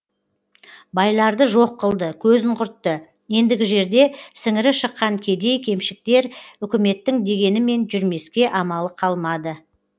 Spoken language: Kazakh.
байларды жоқ қылды көзін құртты ендігі жерде сіңірі шыққан кедей кепшіктер үкіметтің дегенімен жүрмеске амалы қалмады